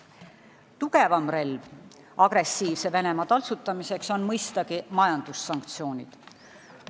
Tugevam relv agressiivse Venemaa taltsutamiseks on mõistagi majandussanktsioonid.